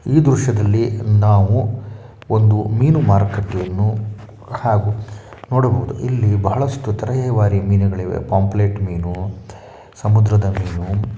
ಈ ದೃಶ್ಯದಲ್ಲಿ ನಾವು ಒಂದು ಮೀನು ಮಾರುಕಟ್ಟೆಯನು ಹಾಗ ನೂಡಬಹುದು ಇಲ್ಲಿ ಬಹಳಷ್ಟು ತರಹದ ಮೀನುಗಳು ಇವೆ ಪಂಪ್ಲ್ಲೆಟ್ ಮೀನು ಸಮುದ್ರಾದ ಮೀನು .